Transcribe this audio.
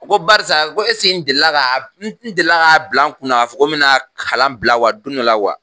Ko barisa ko esigi n deli ga n deli ga bila n kun na k'a fɔ ko n mena kalan bila wa don dɔla wa